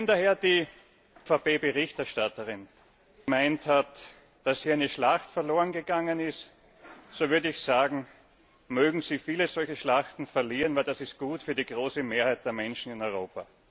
Wenn daher die EVP ED Berichterstatterin gemeint hat, dass hier eine Schlacht verloren gegangen sei, so würde ich sagen, mögen Sie viele solcher Schlachten verlieren, denn das ist gut für die große Mehrheit der Menschen in Europa.